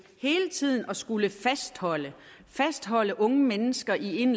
hele tiden at skulle fastholde fastholde unge mennesker i en